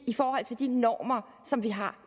i forhold til de normer som vi har